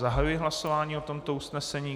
Zahajuji hlasování o tomto usnesení.